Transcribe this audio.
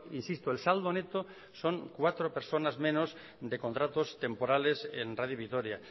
insisto el saldo neto son cuatro personas menos de contratos temporales en radio vitoria